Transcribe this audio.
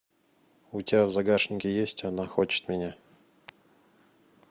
у тебя в загашнике есть она хочет меня